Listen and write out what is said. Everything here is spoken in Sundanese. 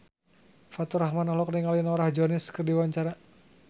Faturrahman olohok ningali Norah Jones keur diwawancara